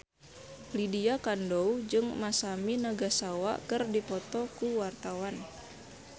Lydia Kandou jeung Masami Nagasawa keur dipoto ku wartawan